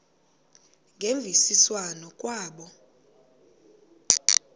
ngemvisiswano r kwabo